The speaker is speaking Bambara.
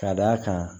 Ka d'a kan